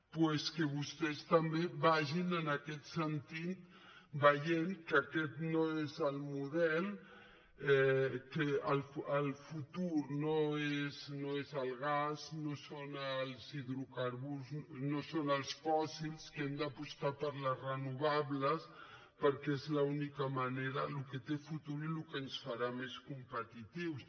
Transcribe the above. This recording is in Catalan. doncs que vostès també vagin en aquest sentit veient que aquest no és el model que el futur no és el gas no són els hidrocarburs no són els fòssils que hem d’apostar per les renovables perquè és l’única manera el que té futur i el que ens farà més competitius